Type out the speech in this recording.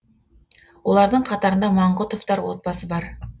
олардың қатарында маңғұтовтар отбасы бар